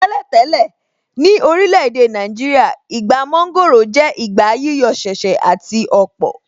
Tẹ́lẹ̀ tẹ́lẹ̀, ní orílẹ̀ èdè Nàìjíríà, Ìgbà mọ́ńgòrò jẹ́ ìgbà yíyọ̀ ṣẹ̀ṣẹ̀ àti ọ̀pọ̀.